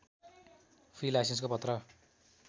free लाइसेन्सको पत्र